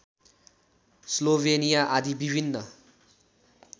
Slovenia आदि विभिन्न